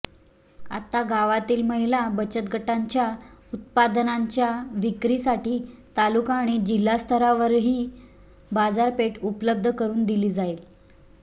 आता गावातील महिला बचतगटांच्या उत्पादनांच्या विक्रीसाठी तालुका आणि जिल्हास्तरावरही बाजारपेठ उपलब्ध करुन दिली जाईल